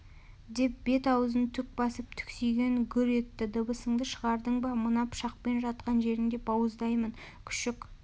деп бет-аузын түк басып түксиген гүр етті дыбысыңды шығардың ба мына пышақпен жатқан жерінде бауыздаймын күшік